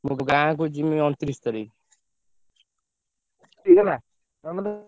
ମୁଁ ଗାଁକୁ ଯିମି ଅଣତିରିଶି ତାରିଖ୍। ହେଇଗଲା ।